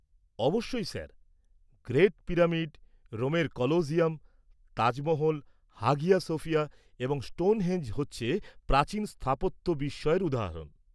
-অবশ্যই sir. Great pyramid, রোমের Colosseum, Taj Mahal, Hagia Sophia এবং স্টোনহেঞ্জ হচ্ছে প্রাচীন স্থাপত্য বিস্ময়ের উদাহরণ।